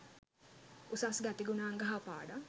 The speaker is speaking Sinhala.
උසස් ගතිගුණාංග හා පාඩම්